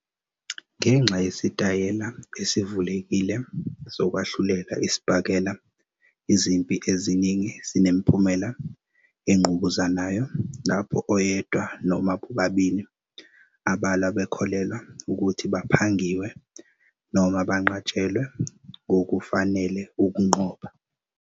Ngenxa yesitayela esivulekile sokwahlulela isibhakela, izimpi eziningi zinemiphumela engqubuzanayo, lapho oyedwa noma bobabili abalwa bekholelwa ukuthi "baphangiwe" noma banqatshelwe ngokungafanele ukunqoba.